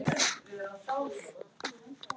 Ég fell við.